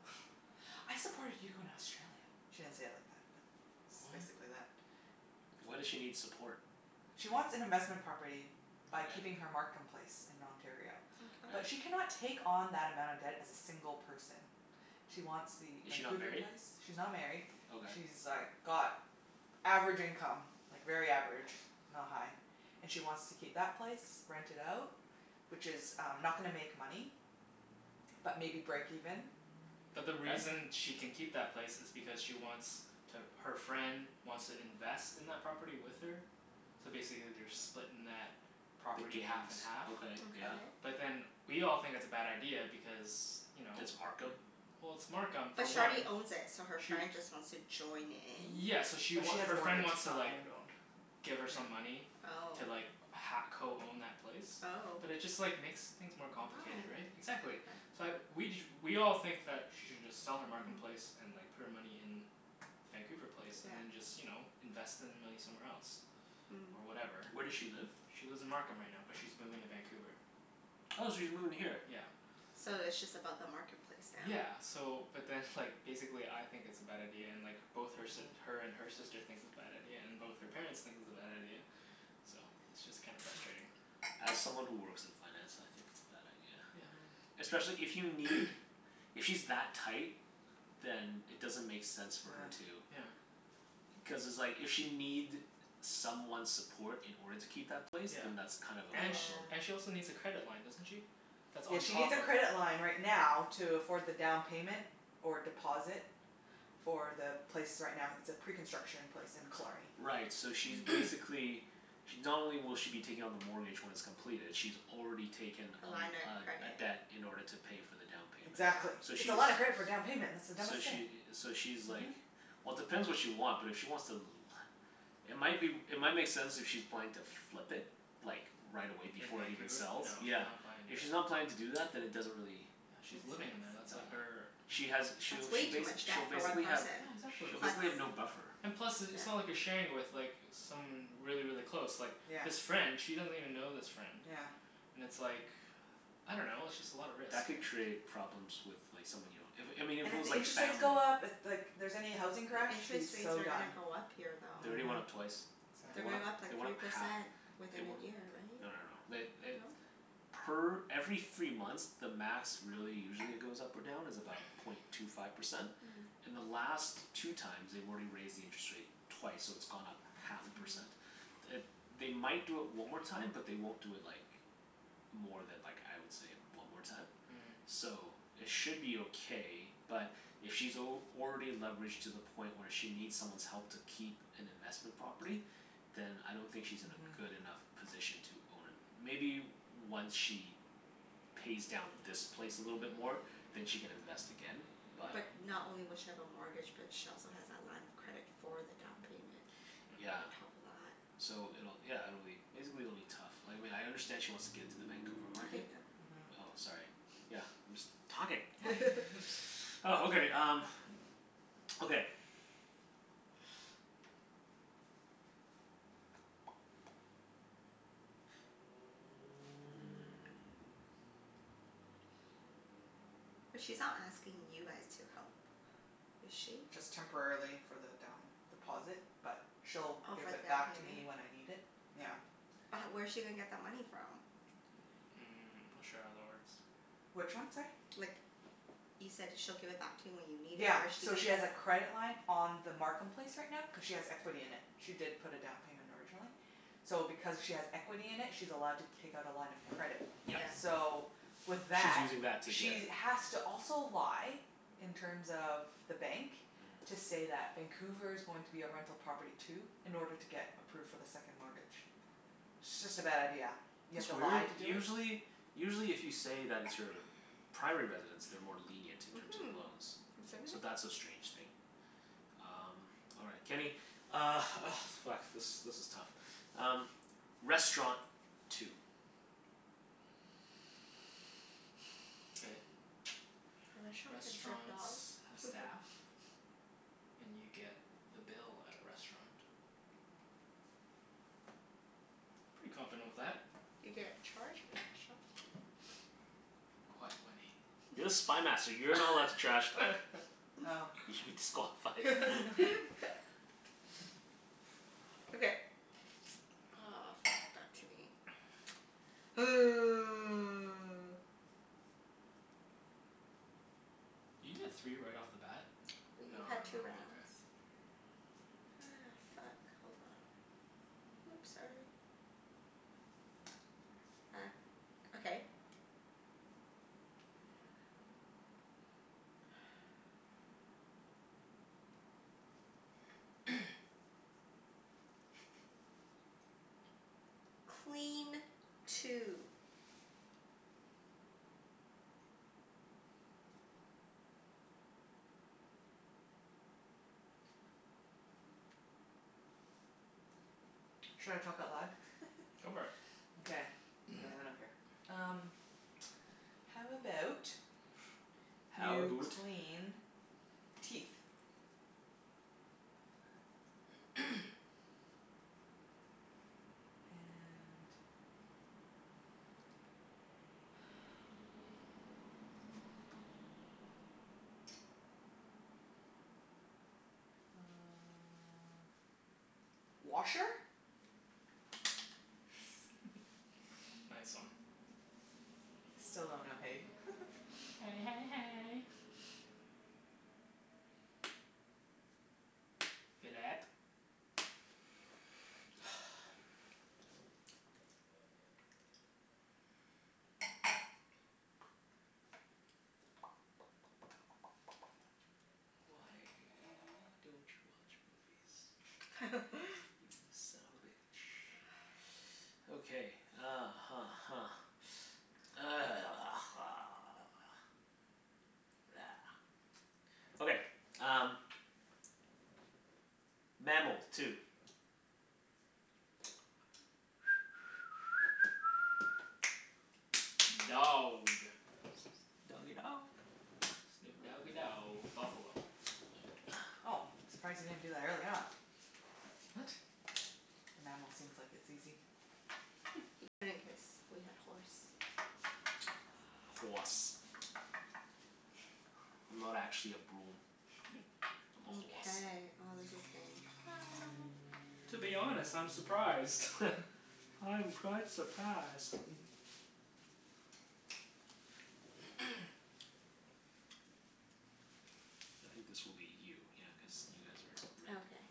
"I supported you in Australia." She didn't say it like that, but it's What? basically that. Why does she need support? She wants an investment property by Okay. keeping her Markham place in Ontario. Mkay. But Okay. she cannot take on that amount of debt as a single person. She wants the Is she not Vancouver married? place. She's not married. Okay. She's like got average income. Like very average. Not high. And she wants to keep that place. Rent it out. Which is um not gonna make money. But maybe break even. But the Okay. reason she can keep that place is because she wants to, her friend wants to invest in that property with her. So basically they're splitting that The property half gains. and half. Okay, Okay. yeah. But then we all think it's a bad idea because you know? It's Markham? Well, it's Markham, for But she already one. owns it, so her Sh- friend just wants to join in? yeah, so she But she wa- has a her friend mortgage. wants It's to not like owned owned. give her some Yeah. money Oh. to like ha- co-own that place. Oh. But it just like makes things more complicated, right? Why? Exactly. Okay. So I we ju- we all think that she should just sell her Markham place Mhm. and like put her money in Vancouver place Yeah. and then just, you know, invest the money somewhere else. Mm. Or whatever. Where does she live? She lives in Markham right now, but she's moving to Vancouver. Oh, she's moving here? Yeah. So it's just about the Markham place now? Yeah. So, but then like, basically I think it's a bad idea, and like both her si- Mhm. her and her sister thinks it's bad idea, and both her parents think it's a bad idea. So it's just kinda Mhm. frustrating. As someone who works in finance, I think it's a bad idea. Yeah. Mhm. Especially if you need If she's that tight then it doesn't make sense for Yeah. her to Yeah. Cuz it's like if she'll need someone's support in order to keep that place. Yeah. Then that's kind of a And sh- problem. and she Yeah. also needs a credit line, doesn't she? That's Yeah, on she needs top a of credit line right now to afford the down payment. Or deposit. For the place right now, it's a pre-construction place in Killarney. Right, so she's Mm. basically She, not only will she be taking on the mortgage when it's completed she's already taken A a line of l- a a credit. debt in order to pay for the down payment. Yeah. Exactly. So It's she's a lot of credit for down payment. That's the dumbest So thing. she i- so she's Mhm. like Well depends what she want, but if she wants to l- It might be w- It might make sense if she's planning to flip it. Like, right away In before it even Vancouver? No, sells. she's Yeah. not planning to If do that. she's not planning to do that then it doesn't really Yeah, Make she's living in sense. there. That's like Uh her She has That's she'll way she too bas- much she'll debt for one basically have person. Yeah, exactly. she'll basically have no Plus buffer. And plus, i- it's not like yeah. you're sharing it with like someone really, really close. Like Yeah. this friend she doesn't even know this friend. Yeah. And it's like, I don't know. It's just a lot of risk, That could right? create problems with like someone you don't if, I mean And if it if was the like interest rates family go up, if like here's any housing crash, The she's interest rates so are done. gonna go up here, They though. already went up Mhm. twice. They They're Mm. went gonna up, go up Exactly. they like went three up half. percent They within we- a year, no no no. right? They eh No? Per every three months the max really usually it goes up or down is about point two five percent. Mm. In the last two times they've already raised the interest rate twice, so it's gone up half a Mhm. percent. It, they might do it one more time, but they won't do it like more than like, I would say, one more time. Mhm. So, it should be okay but if she's al- already leveraged to the point where she needs someone's help to keep an investment property then I don't think she's in a Mhm. good enough position to own a Maybe once she pays down this place a little bit more. Then she can invest again Yeah. but But not only will she have a mortgage, but she also has that line of credit for the down payment. Yeah. On top of that. So it'll, yeah, it'll be, basically it'll be tough. Like, I mean I understand she wants to get into the Vancouver market Okay, go. Mhm. Oh, sorry. Yeah, I'm just talking. Oh, okay um okay Hmm. But she's not asking you guys to help, is she? Just temporarily for the down deposit, but she'll Oh, give for it the down back to payment? me when I need it. Yeah. But h- where's she gonna get that money from? Mm, I'm not sure how that works. Which one, sorry? Like, you said she'll give it back to you when you need it. Yeah. Where's she So gonna she has a credit line on the Markham place right now cuz she has equity in it. She did put a down payment originally. So because she has equity in it she's allowed to take out a line of credit. Yes. Yeah. So, with She's that using that to get she a has to also lie in terms of the bank to Mhm. say that Vancouver's going to be a rental property too. In order to get approved for the second mortgage. It's just a bad idea. You have That's to weird. lie to do it? Usually usually if you say that it's your primary residence they're more lenient in terms of Mhm. loans. So that's a strange thing. Um, all right. Kenny Uh, oh fuck, this this is tough. Um, restaurant. Two. K. A restaurant can serve Restaurants dog. have staff. And you get the bill at a restaurant. Pretty confident with that. You get charged Quiet, Wenny. You're the Spy Master. You're not allowed to trash talk. Oh. You should be disqualified. Okay. Oh, fuck. Back to me. Did you get three right off the bat? No no We've had two no, rounds. okay. Ah, fuck. Hold on. Whoops, sorry. Back, okay. Clean. Two. Should I talk out loud? Go for it. Okay. Yeah, I don't care. Um How about How you aboot clean teeth? And uh washer? Yes. Nice one. Still don't know hay. Hey hey hey. Phillip. Why don't you watch movies? You son of a bitch. Okay, uh huh huh. Okay, um Mammal. Two. Dog. Doggie dog. Snoop doggie dow Buffalo. Oh, surprised you didn't do that earlier on. What? The mammal seems like it's easy. He couldn't cuz we had horse. Hoarse. I'm not actually a broom. I'm a horse. Mkay. Oh, this is getting hard. To be honest, I'm surprised. I'm quite surprised. I think this will be you. Yeah, cuz you guys are red. Okay.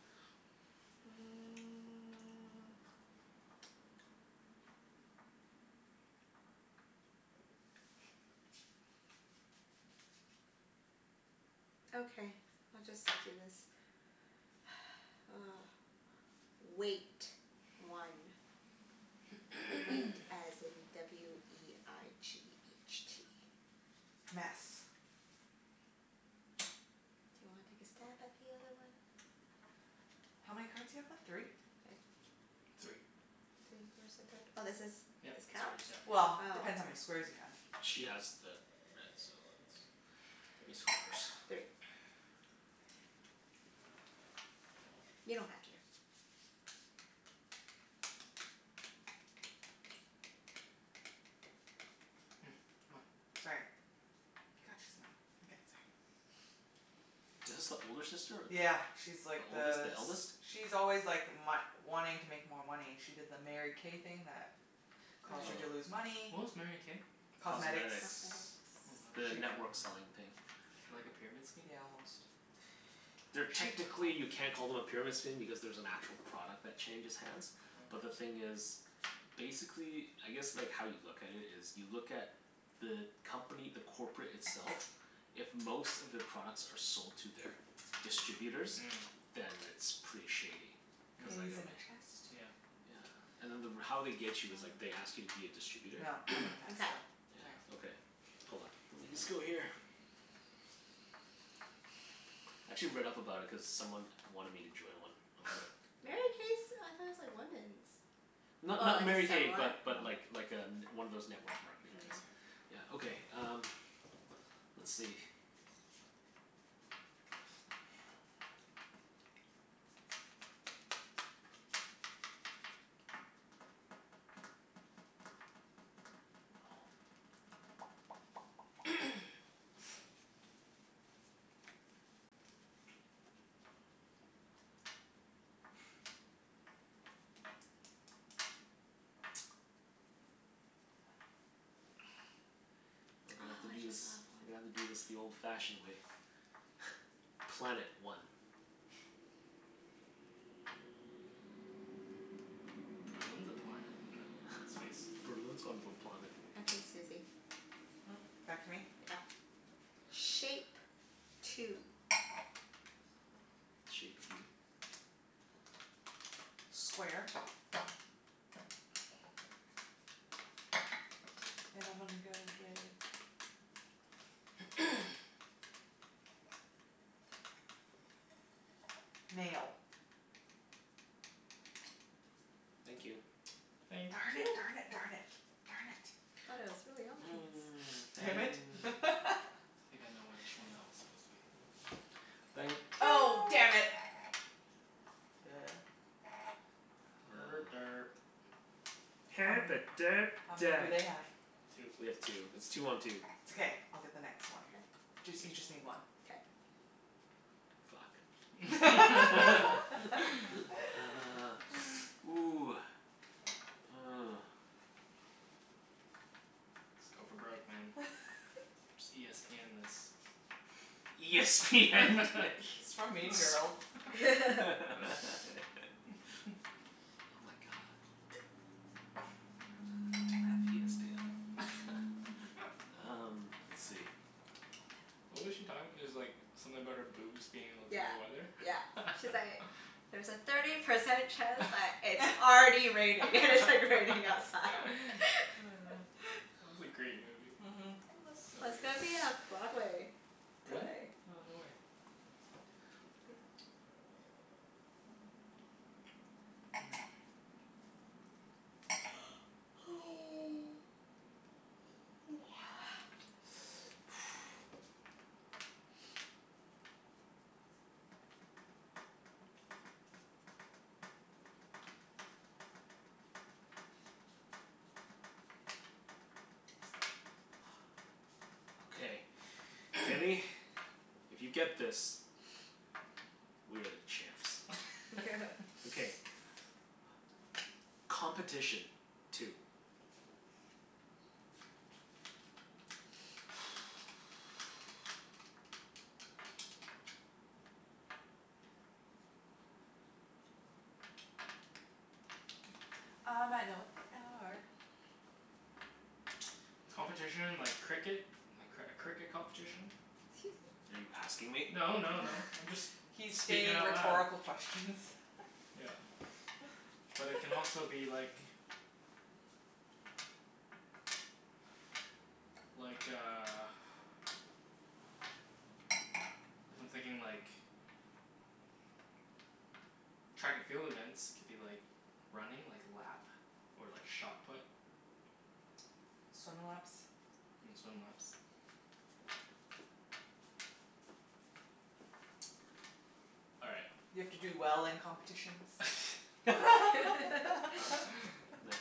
Mm. Okay, we'll just do this. Weight. One. Weight as in w e i g h t. Mess. Do you wanna take a stab at the other one? How many cards you have left? Three? Three. Three? Where's the third? Oh, this is, Yep. this It's counts? yours. Yep. Oh. Well, depends how many squares you have. She has the red so it's it's horse. Three. You don't have to. Hmm. Come on. Sorry. God, she's annoying. Okay, sorry. Is this the older sister or the Yeah, she's like The oldest? the The eldest? s- she's always like my- wanting to make more money. She did the Mary K thing that Oh, caused her to Oh. lose Oh. money. what was Mary K? Cosmetics. Cosmetics. Cosmetics. Oh, The She network selling thing. like a pyramid scheme? Yeah, almost. They're, technically you can't call them a pyramid scheme because there's an actual product that changes hands. But the Oh. thing is basically, I guess like how you look at it is you look at the company, the corporate itself if most of their products are sold to their distributors Mm. then it's pretty shady. Cuz like Mm, I in a mean chest. yeah. Yeah. And then the r- how they get you is like they ask you to be a distributor. No, I'm gonna pass Mkay. still. All right. Yeah. Okay. Hold on. Let me just go here. I actually read up about it cuz someone wanted me to join one. I was like Mary K's, I thought it's like women's? Oh, Not I not Mary guess K similar? but Oh. but like like a n- one of those network marketing Mm. things. Yeah, okay um let's see Oh, We're gonna have to I do this just thought of We're gonna one. have to do this the old fashioned way. Planet. One. Berlin's a planet. No. Space. Berlin's on a planet. Okay, Susie. Hmm? Back to me? Yep. Shape. Two. Shape of you. Square. And I'm gonna go with Nail. Thank you. Thank Darn it, you darn p- it, darn it. Darn it. Thought it was really obvious. Damn it. I think I know which one that was supposed to be. Oh No. damn it. Er Uh derp. How many, how many do they have? Two. We have two. It's two one two. It's okay. I'll get the next K. one. Jus- you just Yes. need one. K. Fuck. Ah, ooh. Oh. Let's go for broke, man. Just e s p end this. E s p end this. It's from Mean Girls. Oh my god. Um, let's see. What was she talking? It's like something about her boobs being able to Yeah, tell the weather? yeah. She's like "There's a thirty percent chance That that it's already raining." And it's like raining outside. was a great movie. Mhm. I So love, good. it's gonna be a Broadway Really? play. Oh, no way. Okay. Kenny, if you get this we are the champs. Okay. Competition. Two. I might know what they are. Competition like cricket? A cr- cricket competition? 'Scuse me. Are you asking me? No no no, I'm just He's speaking stating out loud. rhetorical questions. Yeah. But it can also be like like a if I'm thinking like track and field events, it could be like running, like lap. Or like shot put. Swim laps. And swim laps. All right. You have to do well in competitions. Nah, that's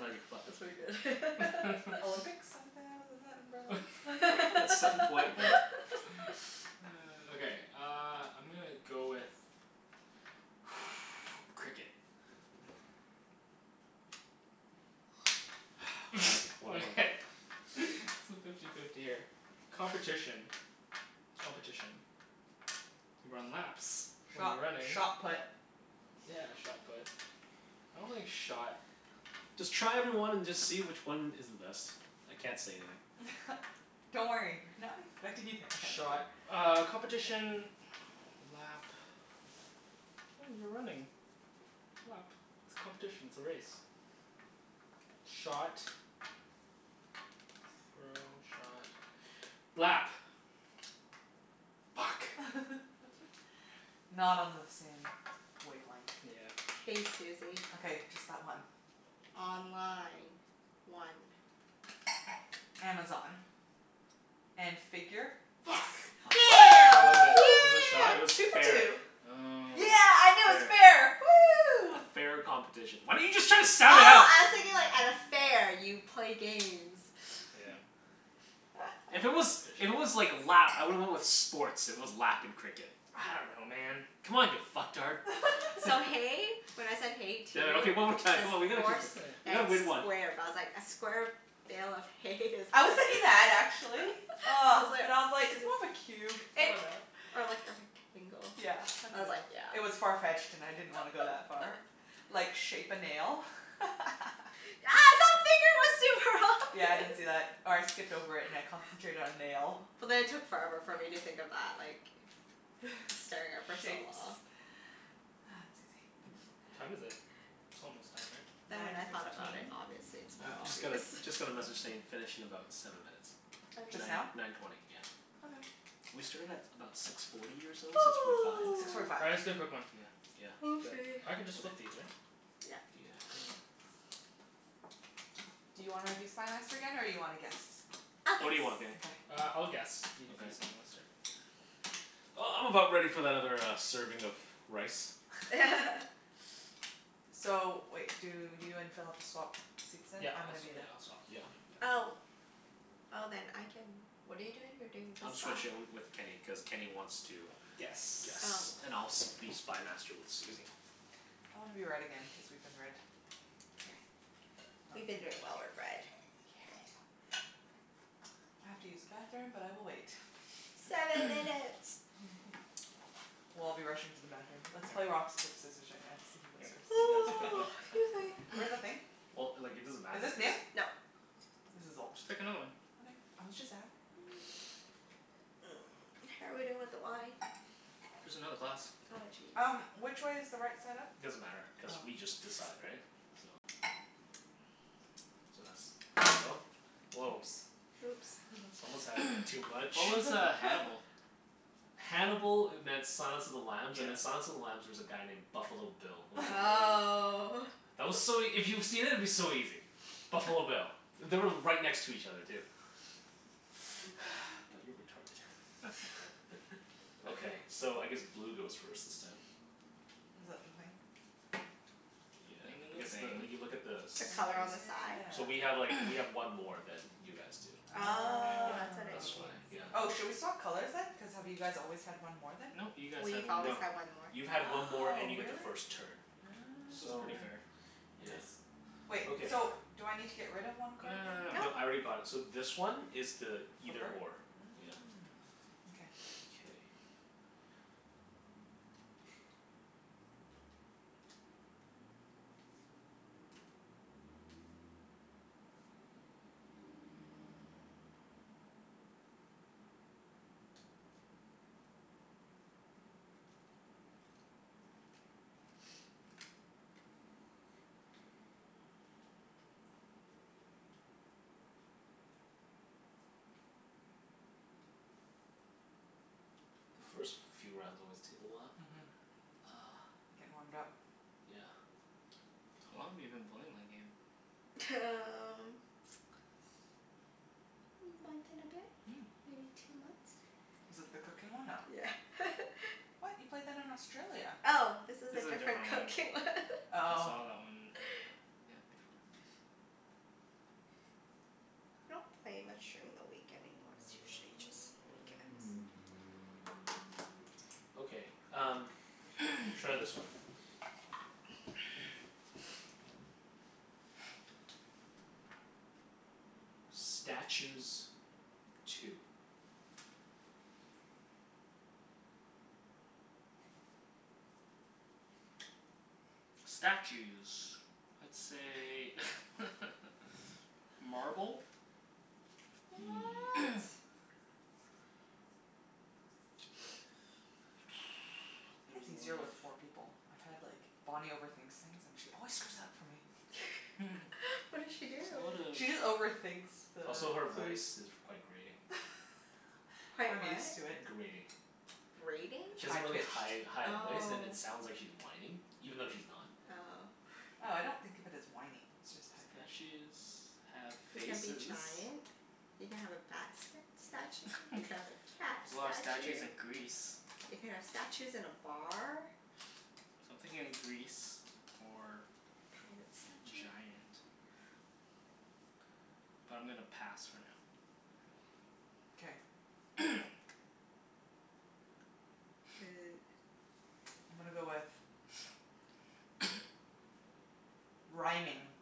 how you fuck That's with pretty people. good. Olympics? Isn't that the, isn't that in Berlin? At some point we Okay, uh I'm gonna go with Cricket. One month Okay, it's fifty fifty here. Competition. Competition. You run laps when Shot you're running. shot put. Yeah, shot put. I don't think shot Just try every one and just see which one is the best. I can't say anything. Don't worry. We're not expecting you to answer. Shot uh competition lap oh, you're running lap. It's competition, it's a race. Shot throw, shot, lap. Fuck. Not on the same wavelength. Yeah. K, Susie. Okay. Just that one. Online. One. Amazon. And figure? Yes! Fu- Yeah. Killed it. Was it shot? It Woo! was Yeah. Two for fair. two. Oh. Yeah, I knew it was Fair. fair. A Woo! fair competition. Why didn't you just try to Oh, sound it out? I was thinking like at a fair you play games. Yeah. If it was, if it was Competition. like lap, I would've went with sports, if it was lap and cricket. I don't know, man. Come on you fucktard. So hay, when I said hay two Damn it. Okay, one more time. as Come on, we gotta keep horse on Okay. We and gotta win one. square. But I was like a square bale of hay is I was thinking that actually. I Ah. But I was was like, like "It's more of a cube. I It dunno." or like a rectangle. Yeah, I I was like, dunno. yeah. It was far-fetched and I didn't wanna go that far. Like, shape a nail? Yeah, I didn't see that. Or I skipped over it and I concentrated on nail. But then it took forever for me to think of that, like staring at it for so Shapes. long. Ah, Mm. Susie. What time is it? It's almost time, right? Then when Nine I thought about it, fifteen. obviously it's I more u- just got a obvious. just got a message saying finish in about seven minutes. Just now? Nine Okay. nine twenty, yeah. Okay. We started at about six forty or so? Six forty five? Six forty five. All right, let's do a quick one. Yeah yeah. 'Scuse Do me. it. I can just flip these, right? Yep. Yeah. Do you wanna be Spy Master again, or you wanna guess? I'll What do guess. you want, Kenny? Okay. Uh, I'll guess. You can be Spy Okay. Master. Uh, I'm about ready for that other uh serving of rice. So wait, do you and Phil have to swap seats then? Yep. I'm I'll gonna swa- be the yeah, I'll swap. Yeah yeah. Oh. Oh, then I can, what are you doing? You're doing I'm this side? switching um with Kenny, cuz Kenny wants to Guess. Oh. guess. And I'll s- be Spy Master with Susie. I wanna be red again cuz we've been red. K. We've been doing well with red. Yeah. K. I have to use the bathroom, but I will wait. Seven minutes. We'll all be rushing to the bathroom. Let's play rock, Yeah. sc- paper, scissors right now to see who All goes first. right. You guys pick one. Excuse me. Where's the thing? Well, like it doesn't Is matter if this new? it's No. This is old. Just pick another one. Okay. I was just ask Mm, how are we doing with the wine? There's another glass. Oh, jeez. Um, which way is the right side up? Doesn't matter, cuz Oh. we just decide, right? So So that's, there you go. Woah. Oops. Whoops. Someone's had a bit too much. What was uh Hannibal? Hannibal e- meant Silence of the Lambs, and Yeah. in Silence of the Lambs there was a guy named Buffalo Bill. Was Oh. That was so ea- if you've seen it, it'd be so easy. Buffalo Bill. They were right next to each other, too. But you're retarded. Okay. So, I guess blue goes first this time. Is that the thing? The Yeah, thing in the because the, thing. you look at the The Oh color on sides. the side? So yeah. we have like, we have one more than you guys do. Oh, Yeah, that's what it that's why. means. Oh. Oh, Yeah. should we swap colors then? Cuz have you guys always had one more then? No. You guys had We've one always more. No. had one more. You've had one more Oh, and you get the really? first turn. So it's pretty So, fair. Oh. It yeah. is. Wait, Okay. so do I need to get rid of one No card no no no then? No. No, I no. already got it. So this one is the either or. Yeah. Mm. Okay. Mkay. The first few rounds always take a while. Mhm. Ah. Gettin' warmed up. Yeah. How long have you been playing that game? T- um month and a bit? Mm. Maybe two months. Is it the cooking one? No. Yeah. What? You played that in Australia. Oh, this is This a is a different different cooking one. one. I Oh. saw that one earlier. Yeah, before. I don't play much during the week anymore. It's usually just weekends. Okay, um Try this one. Statues. Two. Statues. Let's say Marble. What? It's easier with four people. I've had like, Bonnie overthinks things and she always screws up for me. What did she do? There's a lot She just of overthinks the Also, her clues. voice is quite grating. Quite I'm what? used to it. Grating. Grating? She has High a really pitched. high high voice and Oh. it sounds like she's whining. Even though she's not. Oh. Oh, I don't think of it as whiny, it's just high pitched. Statues have You can be faces. giant. You can have a bat st- statue. There's You can have a cat a lot of statues statue. in Greece. You can have statues in a bar. So I'm thinking Greece or Pirate statue. giant. But I'm gonna pass for now. K. Okay. I'm gonna go with Rhyming.